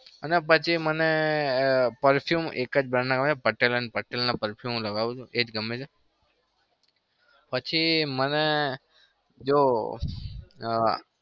અને પછી મને perfume એક જ brand આવે છે પટેલ અને પટેલ ના perfume હું લગાવું છું. એ જ ગમે છે પછી મને જો